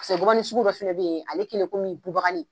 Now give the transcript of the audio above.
Paseke que gɔbɔni sugu dɔ fɛnɛ bɛ yen ale kelen kɔmi bubagani.